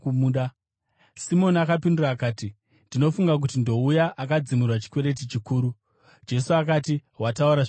Simoni akapindura akati, “Ndinofunga kuti ndouya akadzimirwa chikwereti chikuru.” Jesu akati, “Wataura zvakanaka.”